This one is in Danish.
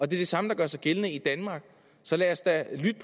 det samme der gør sig gældende i danmark så lad os da lytte